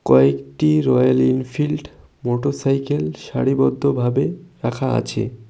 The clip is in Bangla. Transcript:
কয়েকটি রয়েল এনফিল্ড মোটরসাইকেল সারিবদ্ধ ভাবে রাখা আছে।